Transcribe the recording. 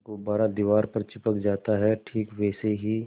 गुब्बारा दीवार पर चिपक जाता है ठीक वैसे ही